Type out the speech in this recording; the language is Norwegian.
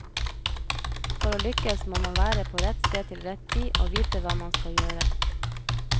For å lykkes må man være på rett sted til rett tid, og vite hva man skal gjøre.